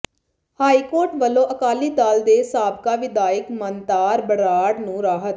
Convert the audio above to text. high court ਵੱਲੋਂ ਅਕਾਲੀ ਦਲ ਦੇ ਸਾਬਕਾ ਵਿਧਾਇਕ ਮਨਤਾਰ ਬਰਾੜ ਨੂੰ ਰਾਹਤ